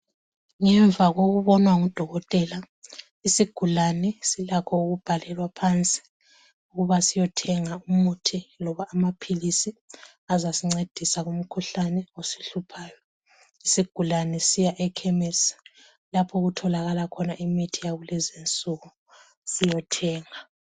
Ngemva kokubonwa ngudokotela isugulani silakho ukubhalwela phansi ukuba siyothenga umuthi loba amaphilisi asasincedisa kumkhuhlane esihluphayo. Isigulane Siya ekhemesi lapho okutholakala khona imithi yakulezi insuku siyothenga.